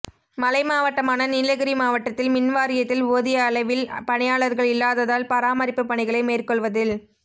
மலை மாவட்டமான நீலகிரி மாவட்டத்தில் மின்வாரியத்தில் போதிய அளவில் பணியாளா்கள் இல்லாததால் பராமரிப்புப் பணிகளை மேற்கொள்வதில்